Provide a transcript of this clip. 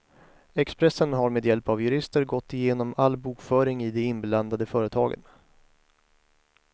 Expressen har med hjälp av jurister gått igenom all bokföring i de inblandade företagen.